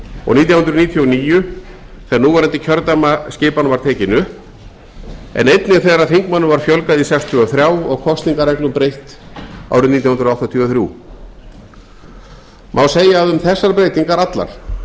og nítján hundruð níutíu og níu þegar núverandi kjördæmaskipan var tekin upp en einnig þegar þingmönnum var fjölgað í sextíu og þrjú og kosningareglum breytt árið nítján hundruð áttatíu og þrjú má segja að um þessar breytingar allar